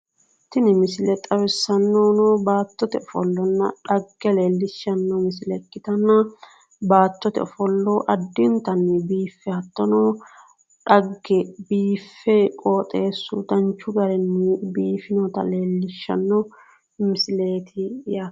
Tini misile xawissannohuno baattote ofollonna xagge leellishanno misile ikkitanna baattote ofollo addintanni biiffe hattono xagge biiffe qooxeessu danchu garinni biifinota leellishanno misileeti yaate